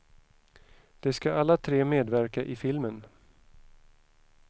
De ska alla tre medverka i filmen.